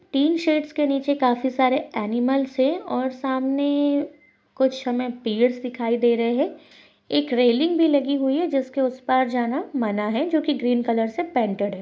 Tin sheds के नीचे काफी सारे अँनिमल्स है और सामने कुछ हमे पेड्स दीखाई दे रहे है एक रेलिंग भी लगी हुई है जिसके उस पार जाना मना है जो की ग्रीन कलर से पेंटेड है।